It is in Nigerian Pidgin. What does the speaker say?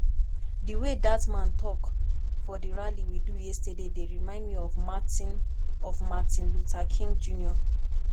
the way dat man talk for the rally we do yesterday dey remind me of martin of martin luther king jnr